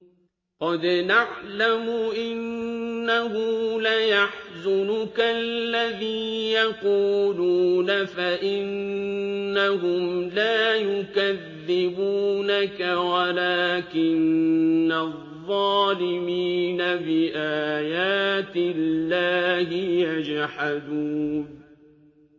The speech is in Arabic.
قَدْ نَعْلَمُ إِنَّهُ لَيَحْزُنُكَ الَّذِي يَقُولُونَ ۖ فَإِنَّهُمْ لَا يُكَذِّبُونَكَ وَلَٰكِنَّ الظَّالِمِينَ بِآيَاتِ اللَّهِ يَجْحَدُونَ